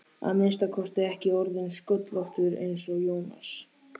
að minnsta kosti ekki orðinn sköllóttur eins og Jónas.